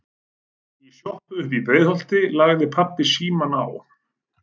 Í sjoppu uppí Breiðholti lagði pabbi símann á.